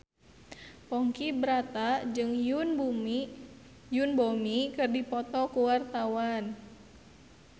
Ponky Brata jeung Yoon Bomi keur dipoto ku wartawan